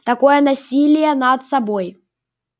такое насилие над собой